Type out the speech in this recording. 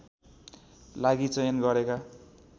लागि चयन गरेका